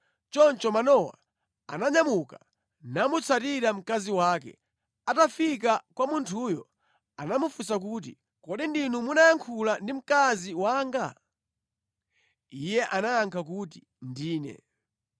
Choncho Manowa ananyamuka namutsatira mkazi wake. Atafika kwa munthuyo anamufunsa kuti, “Kodi ndinu munayankhula ndi mkazi wanga?” Iye anayankha kuti, “Ndine.”